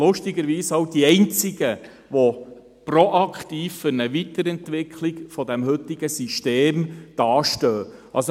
Lustigerweise sind Sie auch die einzigen, die proaktiv für eine Weiterentwicklung des heutigen Systems hinstehen.